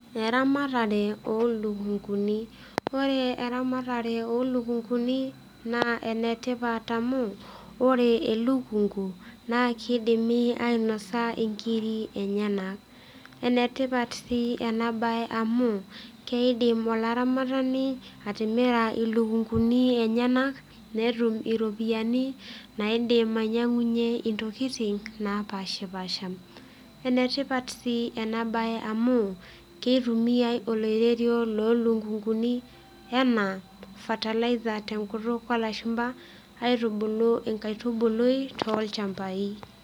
Eramatare olukunguni ore eramatare olukunguni naa enetipat amu ore elukungu naa kidimi ainasa inkiri enyenak enetipat sii ena baye amu keidim olaramatani atimira ilukunguni enyenak netum iropiyiani naidim ainyiang'unyie intokiting napashipasha enetipat sii ena baye amu kitumiae oloirerio lolukunguni enaa fertilizer tenkutuk olashumpa aitubulu inkaitubului tolchambai.